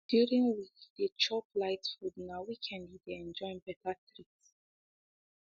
during week e dey chop light food na weekend e dey enjoy better treat